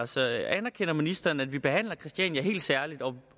så anerkender ministeren at vi behandler christiania helt særligt og